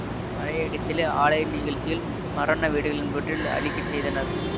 பறையடித்தலை ஆலய நிகழச்சிகள் மரண வீடுகள் என்பனவற்றில் அளிக்கச் செய்தனர்